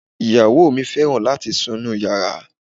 Ìyàwó mi fẹ́ràn láti sun inúu yàrá.